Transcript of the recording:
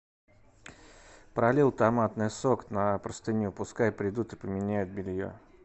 пролил томатный сок на простыню пускай придут и поменяют белье